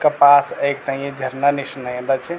कपास एक ते ये झरना निष् नएंदा च।